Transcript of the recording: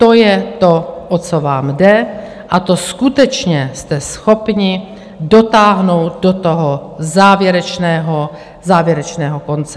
To je to, o co vám jde, a to skutečně jste schopni dotáhnout do toho závěrečného, závěrečného konce.